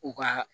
U ka